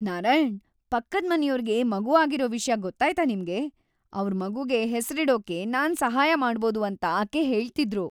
ನಾರಾಯಣ್, ಪಕ್ಕದ್ಮನೆಯೋರ್ಗೆ ಮಗು ಆಗಿರೋ ವಿಷ್ಯ ಗೊತ್ತಾಯ್ತಾ ನಿಮ್ಗೆ? ಅವ್ರ್ ಮಗುಗೆ ಹೆಸ್ರಿಡೋಕೆ ನಾನ್ ಸಹಾಯ ಮಾಡ್ಬೋದು ಅಂತ ಆಕೆ ಹೇಳ್ತಿದ್ರು.